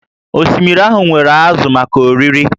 Osimiri ahụ nwere ázụ̀ maka oriri